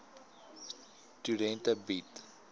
studente bied